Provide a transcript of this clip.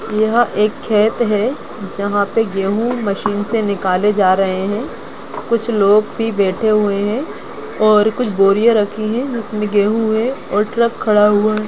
यहाँ एक खेत हैं जहाँ पे गेहू मशीन से निकले जा रहे हैं कुछ लोग भी बेठे हुए हैं और कुछ बोरियां रखी हैं जिसमे गेहू हैं और ट्रॅक खड़ा हुआ हैं